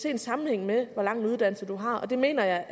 en sammenhæng med hvor lang uddannelse du har det mener